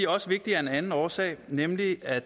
også vigtige af en anden årsag nemlig at